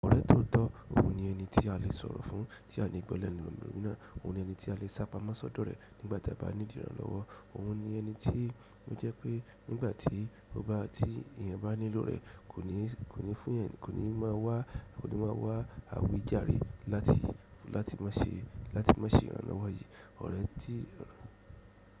Ọ̀rẹ́ tóo tọ́, òun ni ẹni tí a lè sọ̀rọ̀ fún tí a ni gbọ́ lẹ́nu ẹlòmíràn. Òun ni ẹni tí a lè sápamọ́ sódò rẹ̀ nígbà ta bá nidi ìrànlọ́wọ́. Òun ni ẹni tí ó jẹ́ pé nígbà tí ó bá tí èèyàn bá nílò rẹ̀, kò ní kò ní fún ẹeyan kò ní máa wá kò ní máa wá àwí jàre láti láti má ṣè láti má ṣè ìrànlọ́wọ́ yìí. Ọ̀rẹ́ tí.